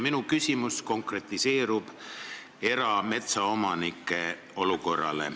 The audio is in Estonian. Minu küsimus on konkreetselt erametsaomanike olukorra kohta.